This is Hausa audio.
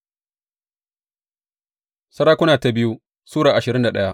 biyu Sarakuna Sura ashirin da daya